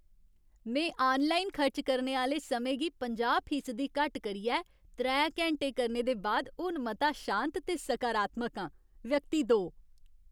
में आनलाइन खर्च करने आह्‌ले समें गी पंजाह् फीसदी घट्ट करियै त्रै घैंटे करने दे बाद हून मता शांत ते सकारात्मक आं। व्यक्ति दो